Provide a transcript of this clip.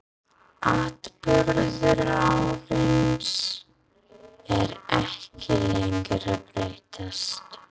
Atburðarásin er ekki lengi að breytast.